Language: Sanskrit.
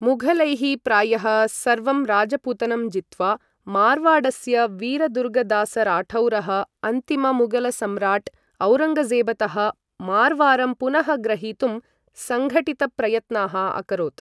मुघलैः प्रायः सर्वं राजपुतनं जित्वा मारवाडस्य वीरदुर्गदासराठौरः अन्तिममुगलसम्राट् औरङ्गजेबतः मारवारं पुनः ग्रहीतुं संघठितप्रयत्नाः अकरोत् ।